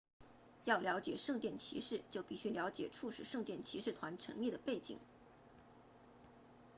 要了解圣殿骑士就必须了解促使圣殿骑士团成立的背景